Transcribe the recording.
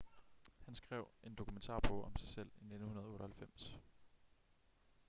han skrev en dokumentarbog om sig selv i 1998